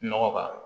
Nɔgɔ k'a la